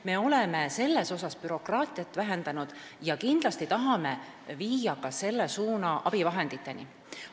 Me oleme selles suhtes bürokraatiat vähendanud ja kindlasti tahame viia selle suuna ka abivahenditeni.